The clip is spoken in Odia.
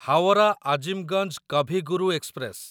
ହାୱରା ଆଜିମଗଞ୍ଜ କଭି ଗୁରୁ ଏକ୍ସପ୍ରେସ